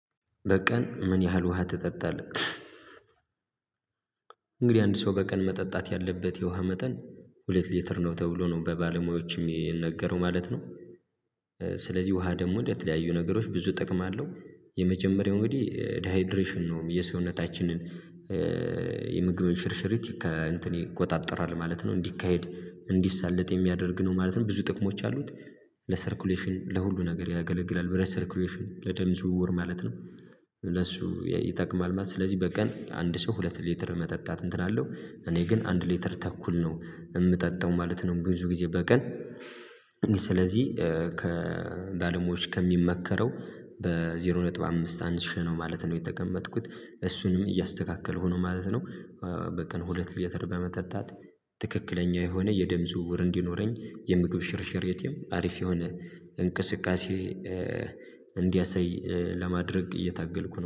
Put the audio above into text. በቀን ምን ያህል ውሃ ትጠጣለህ? እንግዲህ አንድ ሰው በቀን መጠጣት ያለበት የውሃ መጠን ሁለት ሊትር ነው ተብሎ ነው በባለሙያዎችም የሚነገረው ማለት ነው። ስለዚህ ውሃ ደግሞ እንደተለያዩ ነገሮች ብዙ እጥቅም አለው። የመጀመሪያው እንግዲህ ዳይድሬሽን ነው የሰውነታችንን የምግብ ሽርሽርት ይቆጣጠራል ማለት ነው እንዲካሄድ እንዲሰለጥ የሚያደርግ ነው ማለት ነው። ብዙ ጥቅሞች ያሉት ለሰርኩሌሽን ለሁሉ ነገር ያገለግላል ብረት ሰርኩሌሽን ለደም ዝውውር ማለት ነው ለሱ ይጠቅማል ማለት ነው። ስለዚህ በቀን አንድ ሰው ሁለት ሊትር መጠጣት እንትን አለው። እኔ ግን አንድ ሊትር ተኩል ነው የምጠጣው ማለት ነው። ብዙ ጊዜ በቀን ስለዚህ ከባለሙያዎች ከሚመከረው በዜሮ ነጥብ አምስት አንሼ ነው ማለት ነው የተቀመጥኩት እሱንም እያስተካከልኩ ነው ማለት ነው። በቀን ሁለት ሊትር በመጠጣት ትክክለኛ የሆነ የደም ዝውውር እንዲኖረኝ የምግብ ሽርሽሬቴም አሪፍ የሆነ እንቅስቃሴ እንዲያሰይ ለማድረግ እየታገልኩ ነው